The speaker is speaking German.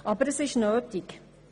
Aber das ist notwendig.